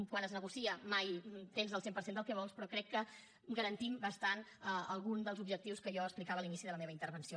quan es negocia mai tens el cent per cent del que vols però crec que garantim bastant algun dels objectius que jo explicava a l’inici de la meva intervenció